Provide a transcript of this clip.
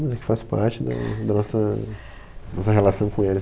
Mas é que faz parte da da nossa nossa relação com eles.